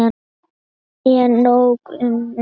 En nóg um mig.